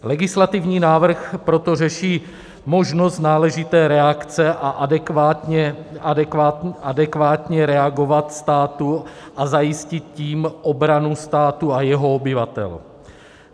Legislativní návrh proto řeší možnost náležité reakce a adekvátně reagovat státu a zajistit tím obranu státu a jeho obyvatel.